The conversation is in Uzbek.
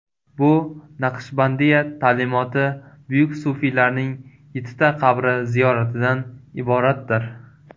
Bu Naqshbandiya ta’limoti buyuk sufiylarining yettita qabri ziyoratidan iboratdir.